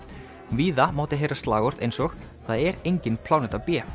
víða mátti heyra slagorð eins og það er engin pláneta b